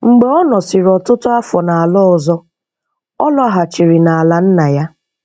Mgbe ọ nọsịrị ọtụtụ afọ n’ala ọzọ, ọ lọghachiri n’ala nna ya.